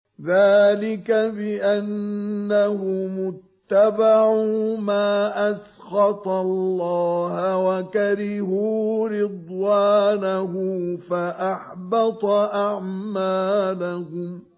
ذَٰلِكَ بِأَنَّهُمُ اتَّبَعُوا مَا أَسْخَطَ اللَّهَ وَكَرِهُوا رِضْوَانَهُ فَأَحْبَطَ أَعْمَالَهُمْ